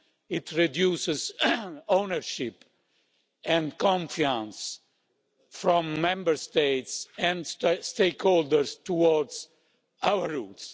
it reduces ownership and confidence from Member States and stakeholders towards our rules.